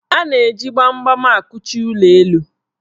A na-eji gbamgbam akụchi ụlọelu.